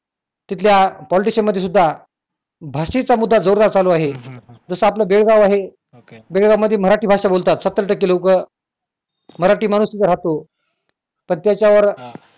तिथल्या politician मध्ये सुद्धा भाषेचा मुद्दा जोरदार चालू आहे जसं आपलं बेळगाव आहे बेळगाव मध्ये मराठी भाषा बोलतात सत्तर टक्के लोकं मराठी माणूस तिथं राहतो पण त्याच्यावर